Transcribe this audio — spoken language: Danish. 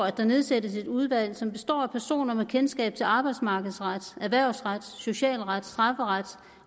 at der nedsættes et udvalg som skal bestå af personer med kendskab til arbejdsmarkedsret erhvervsret socialret strafferet